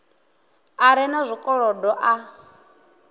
a re na zwikolodo a